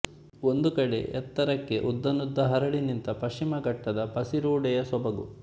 ಒಂದು ಕಡೆ ಎತ್ತರಕ್ಕೆ ಉದ್ದಾನುದ್ದ ಹರಡಿ ನಿಂತ ಪಶ್ಚಿಮ ಘಟ್ಟದ ಪಸಿರುಡೆಯ ಸೊಬಗು